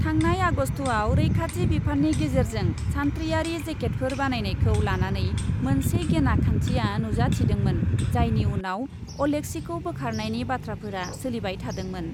थांनाय आगस्टआव रैखाथि बिफाननि गेजेरजों सान्थ्रियारि जेकेटफोर बायनायखौ लानानै मोनसे गेना खान्थिया नुजाथिदोंमोन, जायनि उनाव अलेक्सिखौ बोखारनायनि बाथ्राफोरा सोलिबाय थादोंमोन ।